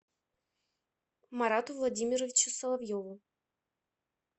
марату владимировичу соловьеву